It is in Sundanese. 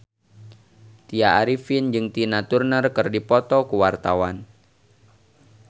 Tya Arifin jeung Tina Turner keur dipoto ku wartawan